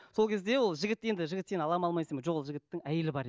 сол кезде ол жігіт енді жігіт сені алады ма алмайды ма жоқ ол жігіттің әйелі бар